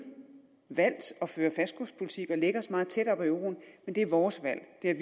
valgt at føre en fastkurspolitik og lægge os meget tæt op ad euroen men det er vores valg det er